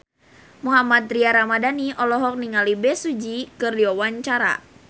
Mohammad Tria Ramadhani olohok ningali Bae Su Ji keur diwawancara